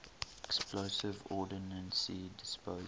explosive ordnance disposal